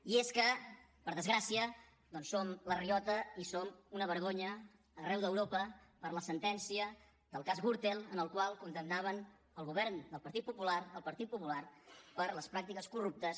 i és que per desgràcia doncs som la riota i som una vergonya arreu d’europa per la sentència del cas gürtel en la qual condemnaven el govern del partit popular el partit popular per les pràctiques corruptes